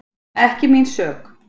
Ekki mín sök